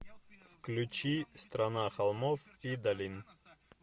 включи страна холмов и долин